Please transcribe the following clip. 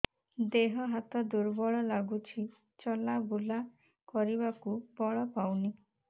ଦେହ ହାତ ଦୁର୍ବଳ ଲାଗୁଛି ଚଲାବୁଲା କରିବାକୁ ବଳ ପାଉନି